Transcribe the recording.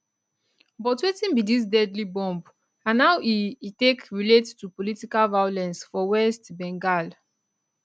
but wetin be dis deadly bomb and how e e take relate to political violence for west bengal